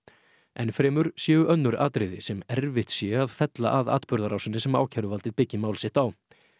enn fremur séu önnur atriði sem erfitt sé að fella að atburðarásinni sem ákæruvaldið byggi mál sitt á